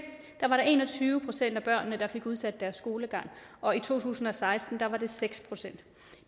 var der en og tyve procent af børnene der fik udsat deres skolegang og i to tusind og seksten var det seks procent